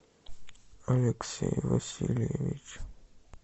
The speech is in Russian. алексей васильевич